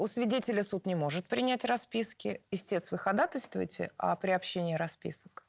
у свидетеля суд не может принять расписки истец вы ходатайствуете о приобщении расписок